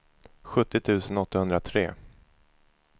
sjuttio tusen åttahundratre